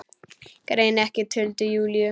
Greini ekki tuldur Júlíu.